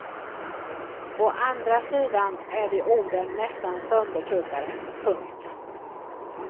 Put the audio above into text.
Å andra sidan är de orden nästan söndertuggade. punkt